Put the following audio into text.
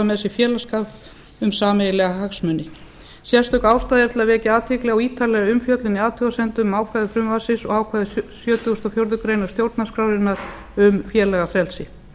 með sér félagsskap um sameiginlega hagsmuni sérstökástæða er til að vekja athygli á ítarlegri umfjöllun í athugasemdum um ákvæði frumvarpsins og ákvæði sjötugasta og fjórðu grein stjórnarskrárinnar um félagafrelsi